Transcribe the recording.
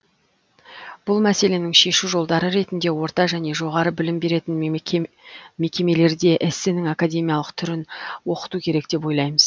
бұл мәселенің шешу жолдары ретінде орта және жоғары білім беретін мекемелерде эссенің академиялық түрін оқыту керек деп ойлаймыз